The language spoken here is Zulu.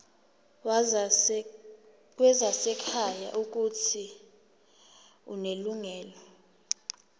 wezasekhaya uuthi unelungelo